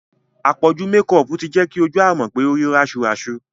Àpọ̀jù mekọọ̀pù ti jẹ́ kí ojú Àmọ̀kẹ́ ó rí rásuràsu